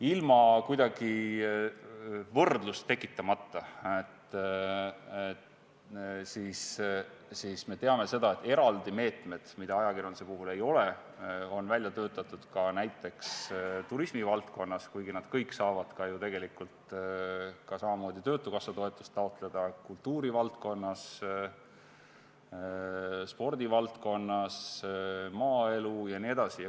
Ilma kuidagi võrdlust tekitamata, me teame, et eraldi meetmed, mida ajakirjanduse puhul ei ole, on välja töötatud ka näiteks turismivaldkonnas, kuigi kõik saavad ju samamoodi töötukassa toetust taotleda kultuurivaldkonna, spordivaldkonna, maaelu jaoks jne.